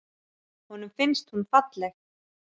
Honum finnst hún falleg.